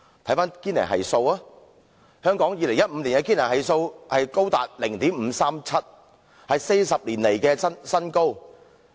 翻看堅尼系數 ，2015 年香港的堅尼系數高達 0.537， 是40年來新高。